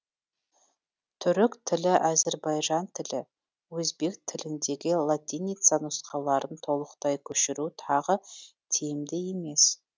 түрік тілі әзірбайжан тілі өзбек тіліндегі латиница нұсқаларын толықтай көшіру тағы тиімді емес